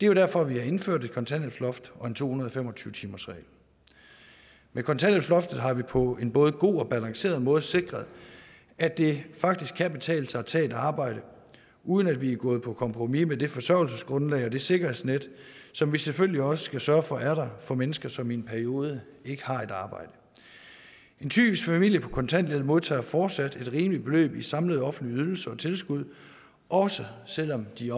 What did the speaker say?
jo derfor at vi har indført et kontanthjælpsloft og en to hundrede og fem og tyve timersregel med kontanthjælpsloftet har vi på en både god og balanceret måde sikret at det faktisk kan betale sig at tage et arbejde uden at vi er gået på kompromis med det forsørgelsesgrundlag og det sikkerhedsnet som vi selvfølgelig også skal sørge for er der for mennesker som i en periode ikke har et arbejde en typisk familie på kontanthjælp modtager fortsat et rimeligt beløb i samlede offentlige ydelser og tilskud også selv om de